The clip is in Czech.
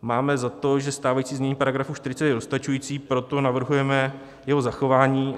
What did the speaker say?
Máme za to, že stávající znění paragrafu 40 je dostačující, proto navrhujeme jeho zachování.